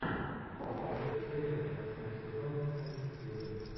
десятая серия восьмой сезон фортитьюд